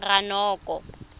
ranoko